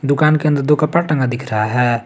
दुकान के अंदर दो कपड़ा टंगा दिख रहा है।